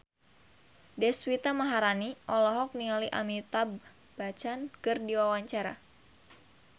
Deswita Maharani olohok ningali Amitabh Bachchan keur diwawancara